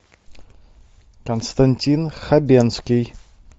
константин хабенский